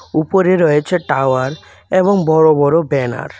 উপরে রয়েছে টাওয়ার এবং বড় বড় ব্যানার ।